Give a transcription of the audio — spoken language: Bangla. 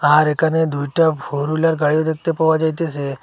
আর এখানে দুইটা ফোর হুইলার গাড়িও দেখতে পাওয়া যাইতেসে।